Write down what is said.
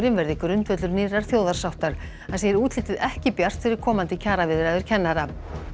verði grundvöllur nýrrar þjóðarsáttar hann segir útlitið ekki bjart fyrir komandi kjaraviðræður kennara